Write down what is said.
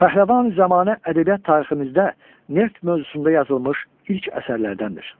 Pəhləvani-Zəmanə ədəbiyyat tariximizdə neft mövzusunda yazılmış ilk əsərlərdəndir.